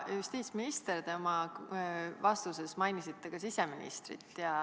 Te mainisite oma vastuses ka siseministrit.